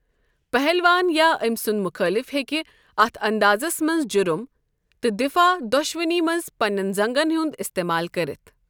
پَہلوَان یا أمۍ سُنٛد مُخٲلِف ہٮ۪کہِ اَتھ اندازَس منٛز جرم تہٕ دفاع دۄشوٕنی منٛز پننٮ۪ن زنٛگَن ہُنٛد استعمال کٔرِتھ۔۔